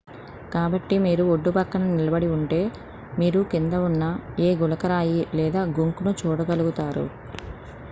కాబట్టి మీరు ఒడ్డుపక్కన నిలబడి ఉంటే మీరు కింద ఉన్న ఏ గులకరాయిలేదా గుంక్ ను చూడగలుగుతారు